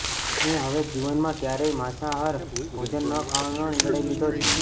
મેં હવે જીવનમાં કયારેય માંસાહાર ભોજન ન ખાવાનો નિર્ણય લીધો છે